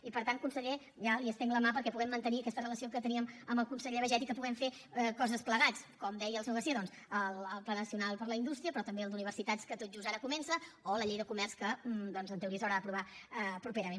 i per tant conseller ja li estenc la mà perquè puguem mantenir aquesta relació que teníem amb el conseller baiget i que puguem fer coses plegats com deia el senyor garcía doncs el pla nacional per a la indústria però també el d’universitats que tot just ara comença o la llei de comerç que en teoria s’haurà d’aprovar properament